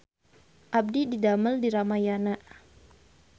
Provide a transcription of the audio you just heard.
Abdi didamel di Ramayana